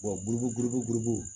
buruburu gurunu